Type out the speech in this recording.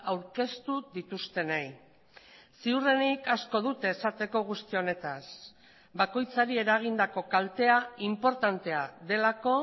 aurkeztu dituztenei ziurrenik asko dute esateko guzti honetaz bakoitzari eragindako kaltea inportantea delako